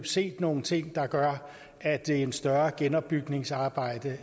set nogle ting der gør at det er et større genopbygningsarbejde